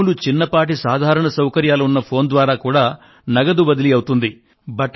మామూలు చిన్నపాటి సాధారణ సౌకర్యాలు ఉన్న ఫోను ద్వారా కూడా నగదు బదిలీ అవుతుంది